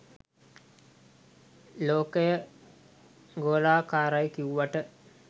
ලෝකය ගොලාකරයි කිව්වට